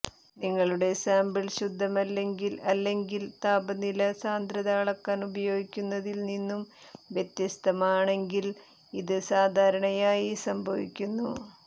നിങ്ങളുടെ സാമ്പിൾ ശുദ്ധമല്ലെങ്കിൽ അല്ലെങ്കിൽ താപനില സാന്ദ്രത അളക്കാൻ ഉപയോഗിക്കുന്നതിൽ നിന്നും വ്യത്യസ്തമാണെങ്കിൽ ഇത് സാധാരണയായി സംഭവിക്കുന്നു